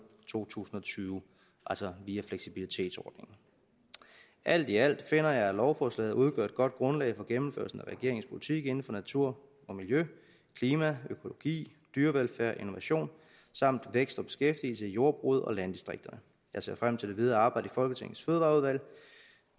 to tusind og tyve altså via fleksibilitetsordningen alt i alt finder jeg at lovforslaget udgør et godt grundlag for gennemførelsen af regeringens politik inden for natur og miljø klima økologi dyrevelfærd innovation samt vækst og beskæftigelse i jordbruget og landdistrikterne jeg ser frem til det videre arbejde i folketingets fødevareudvalg